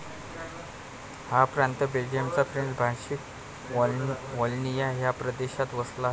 हा प्रांत बेल्जियमच्या फ्रेंच भाषिक वाल्लोनिया ह्या प्रदेशात वसला आहे.